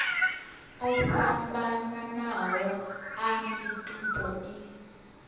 o fhambananaho a mitupo i